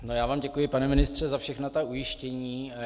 Já vám děkuji, pane ministře, za všechna ta ujištění.